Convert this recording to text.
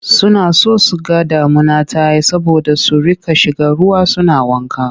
Suna son su ga damuna ta yi saboda su riƙa shiga ruwa suna wanka.